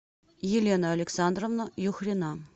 елена александровна юхрина